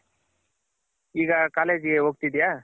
ಈಗ college ಗೆ ಹೋಗ್ತಿದ್ಯ?